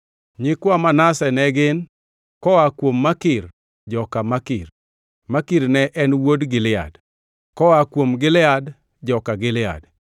Nyikwa Manase ne gin: koa kuom Makir, joka Makir (Makir ne en wuod Gilead); koa kuom Gilead, joka Gilead.